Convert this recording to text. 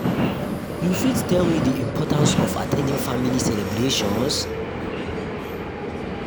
you fit tell me di importance of at ten ding family celebrations?